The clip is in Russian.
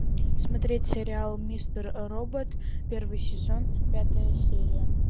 смотреть сериал мистер робот первый сезон пятая серия